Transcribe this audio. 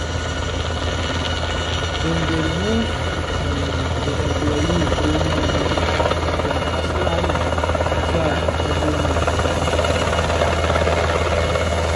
dem dey remove um the employee premium money from her salary salary every month automatically.